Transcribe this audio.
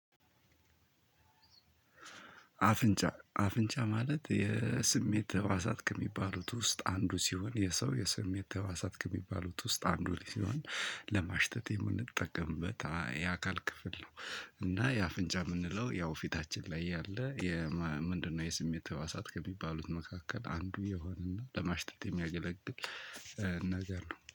አፍንጫ አፍንጫ ማለት የስሜት ህዋሳት ከሚባሉት ውስጥ አንዱ ሲሆን የሰው የሰሜት ህዋሳት ከሚባሉት ውስጥ አንዱ ሲሆን ለማሽተት የምንጠቀምበት የአካል ክፍል ነው። እና የአፍንጫ እምንለው ያው ፊታችን ላይ ያለ ምንድነው? የስሜት ህዋሳት ከሚባሉት መካከል አንዱ የሆነና ለማሽተት የሚያገለግል ነገር ነው